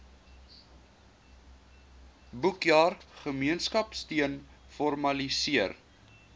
boekjaar gemeenskapsteun formaliseer